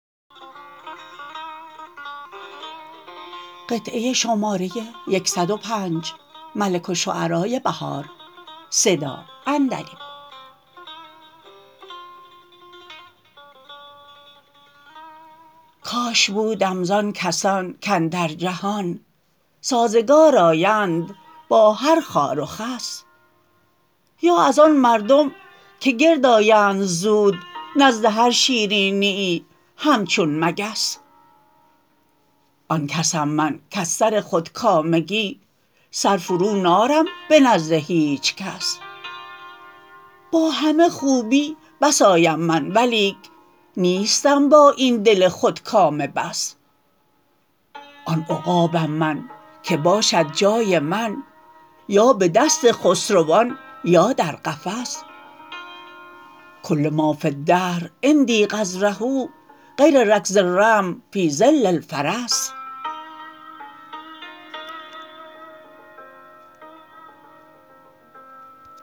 کاش بودم زان کسان کاندر جهان سازگار آیند با هر خار و خس یا از آن مردم که گرد آیند زود نزد هرشیرینییی همچون مگس آن کسم منکر سر خودکامگی سر فرو نارم به نزد هیچ کس باهمه خوبی بس آیم من ولیک نیستم با این دل خودکامه بس آن عقابم من که باشد جای من یا به دست خسروان یا در قفس کل ما فی الدهر عندی قذره غیر رکض الرمح فی ظل الفرس